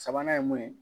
Sabanan ye mun ye